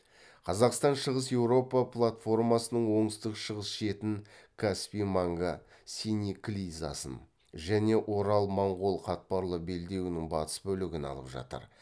қазақстан шығыс еуропа платформасының оңтүстік шығыс шетін каспий маңга синеклизасын және орал моңғол қатпарлы белдеуінің батыс бөлігін алып жатыр